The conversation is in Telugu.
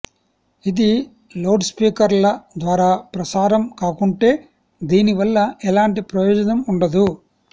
ఇది లౌడ్స్పీకర్ల ద్వారా ప్రసారం కాకుంటే దీనివల్ల ఎలాంటి ప్రయోజనం ఉండదు